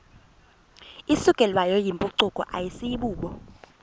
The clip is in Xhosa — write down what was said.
isukelwayo yimpucuko asibubo